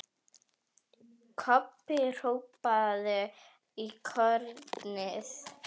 Kobbi hrópaði í hornið.